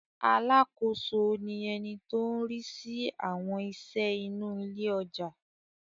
Alákòóso ni ẹni tó ń rí sí àwọn iṣẹ́ inú ilé ọjà.